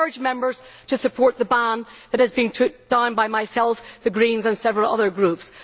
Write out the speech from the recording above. I urge Members to support the ban that has been put down by myself, the Greens and several other groups.